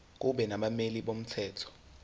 kube nabameli bomthetho